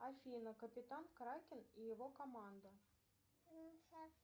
афина капитан кракен и его команда